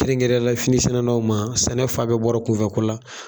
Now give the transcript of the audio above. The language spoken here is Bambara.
Kɛnrɛnkɛnrɛnne ya la fini sɛnɛlaw man, sɛnɛfan bɛɛ bɔra kun fɛ ko la.